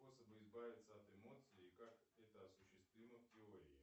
способы избавиться от эмоций и как это осуществимо в теории